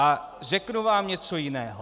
A řeknu vám něco jiného.